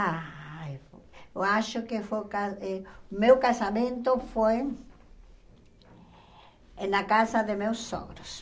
Ah, eu acho que foi ca eh... Meu casamento foi eh na casa de meus sogros.